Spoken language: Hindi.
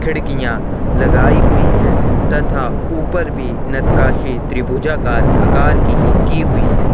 खिड़कियां लगाई हुई है तथा ऊपर भी नतकाशी त्रिभुजा कार आकर की ही की हुई है --